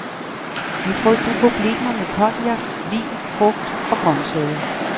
Vi frygter problemer med cognac, vin, frugt og grøntsager.